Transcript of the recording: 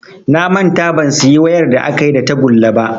Na manta ban siyi wayar da akayi da tagulla ba